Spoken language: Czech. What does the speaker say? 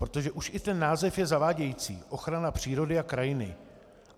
Protože už i ten název je zavádějící: ochrana přírody a krajiny.